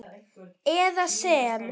eða sem